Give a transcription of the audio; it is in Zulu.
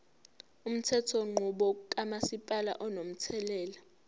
umthethonqubo kamasipala unomthelela